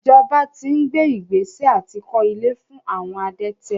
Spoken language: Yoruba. Ìjọba ti ń gbé ìgbésẹ̀ àti kó ilé fún àwọn adẹ́tẹ̀.